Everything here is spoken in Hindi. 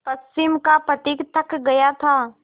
पश्चिम का पथिक थक गया था